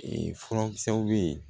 furakisɛw bɛ yen